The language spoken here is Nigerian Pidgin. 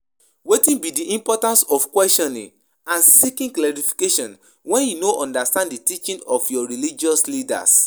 Wetin be di importance of questioning and seeking clarification when you no understand di teaching of your religious leaders?